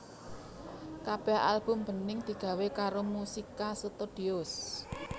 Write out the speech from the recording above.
Kabéh album Bening digawé karo Musica Studios